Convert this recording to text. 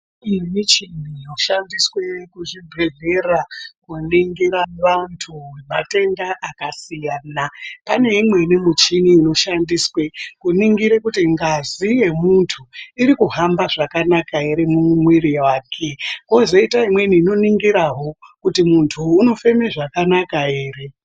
Kune michini yoshandiswe kuzvibhedhlera ,kuningira vantu matenda akasiyana. Pane imweni muchini inoshandiswa kuningire kuti ngazi yemuntu ,iri kuhamba zvakanaka ere, mumwiri wake, kwozoita imweni inoningirawo ,kuti muntuyu unofeme zvakanaka ere.